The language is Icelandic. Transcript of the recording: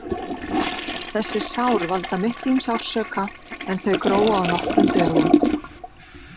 Þessi sár valda miklum sársauka en þau gróa á nokkrum dögum.